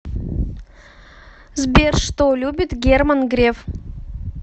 сбер что любит герман греф